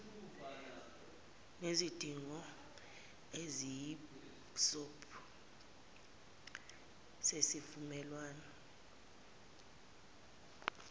nezidingongqangi eziyisibopho sesivumelwano